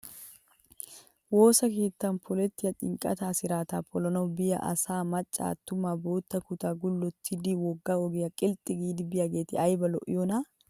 Woosa keettan polettiyaa xinqqataa 'siraataa' polana biyaa asayi maccayi attumayi bootta kutaa gullottidi wogga ogiyaa qilxxi giidi biyaageeti ayibaa lo'iyoonaa!